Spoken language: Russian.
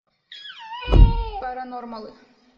паранормалы